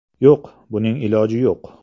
Yo‘q, buning iloji yo‘q.